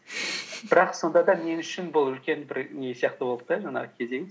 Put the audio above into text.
бірақ сонда да мен үшін бұл үлкен бір не сияқты болды да жаңағы кезең